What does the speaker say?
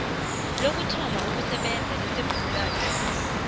lokuthoma ukusebenza kwesivumelwanesi